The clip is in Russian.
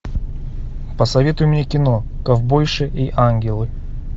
посоветуй мне кино ковбойши и ангелы